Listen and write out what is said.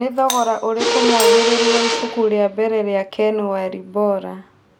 nĩ thogora ũrikũ mwangĩrĩrũ wa ĩbũku rĩa mbere rĩa ken walbora